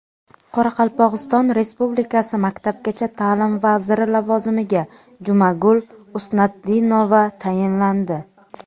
Qoraqalpog‘iston Respublikasi maktabgacha ta’lim vaziri lavozimiga Jumagul Usnatdinova tayinlandi.